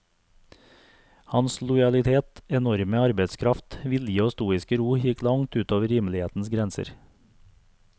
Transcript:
Hans lojalitet, enorme arbeidskraft, vilje og stoiske ro gikk langt utover rimelighetens grenser.